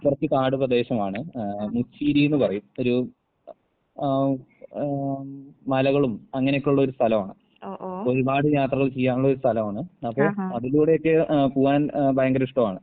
കൊറച്ച് കാട് പ്രദേശമാണ് ഏഹ് നെച്ചീരിന്ന് പറയും. ഒരു അഹ് ആഹ് ആം മലകളും അങ്ങനെക്കൊള്ളൊരു സ്ഥലവാണ്. ഒരുപാട് യാത്രകൾ ചെയ്യാനുള്ളൊരു സ്ഥലവാണ്. അപ്പൊ അതിലൂടെയൊക്കെ ഏഹ് പൂവാൻ എഹ് ഭയങ്കര ഇഷ്ടവാണ്.